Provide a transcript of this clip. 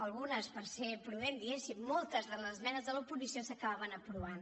algunes per ser prudent diguéssim moltes de les esmenes de l’oposició s’acabaven aprovant